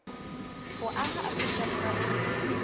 ho aha afrika borwa e